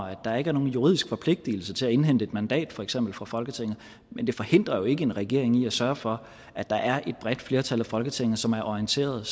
at der ikke er nogen juridisk forpligtelse til at indhente et mandat for eksempel fra folketinget men det forhindrer jo ikke en regering i at sørge for at der er et bredt flertal af folketinget som er orienteret